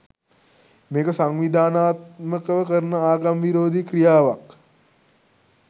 මේක සංවිදනාත්මකව කරන ආගම් විරෝදී ක්‍රියාවක්.